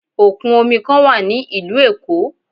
Òkun omi kan wà ní ìlú Èkó.